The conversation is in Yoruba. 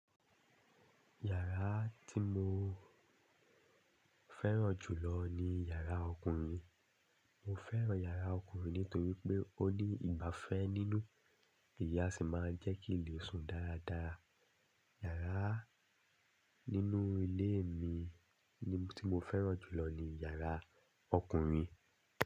Yàrá tí mo fẹ́ràn jù lọ ni yàrá ọkùnrin. Mo fẹ́ràn yàrá ọkùnrin nítorí pé ó ní ìgbafẹ́ nínú. Èyí a sì máa ń jẹ́ kí n lè sùn dáradára. Yàrá nínú ilé mi tí mo fẹ́ràn jù lọ ni yàrá ọkùnrin.